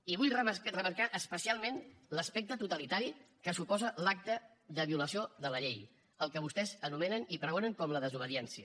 i vull remarcar especialment l’aspecte totalitari que suposa l’acte de violació de la llei el que vostès anomenen i pregonen com la desobediència